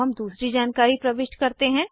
अब हम दूसरी जानकारी प्रविष्ट करते हैं